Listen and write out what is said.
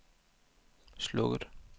slukket